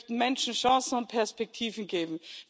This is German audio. Wir möchten Menschen Chancen und Perspektiven geben.